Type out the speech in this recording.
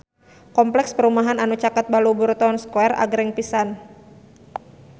Kompleks perumahan anu caket Balubur Town Square agreng pisan